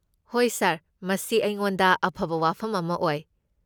ꯍꯣꯏ, ꯁꯥꯔ꯫ ꯃꯁꯤ ꯑꯩꯉꯣꯟꯗ ꯑꯐꯕ ꯋꯥꯐꯝ ꯑꯃ ꯑꯣꯏ꯫